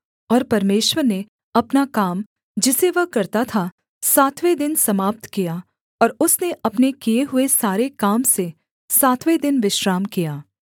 और परमेश्वर ने अपना काम जिसे वह करता था सातवें दिन समाप्त किया और उसने अपने किए हुए सारे काम से सातवें दिन विश्राम किया